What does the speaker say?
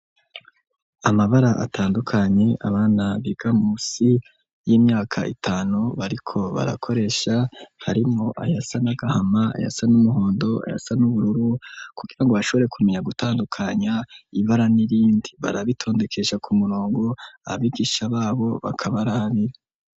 Amabara atandukanye abana biga musi y'imyaka itanu bariko barakoresha harimo ayasa n'agahama ayasa n'umuhondo ayasa n'ubururu kugira ngo bashobore kumenya gutandukanya ibara n'irindi barabitondekesha ku murongo abigisha babo bakabarabira.